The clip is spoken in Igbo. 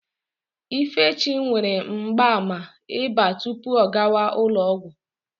Ifechi nwere mgbaàmà ịba tupu ọ gawa ụlọ ọgwụ.